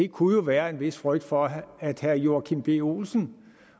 kunne jo være en vis frygt for at herre joachim b olsen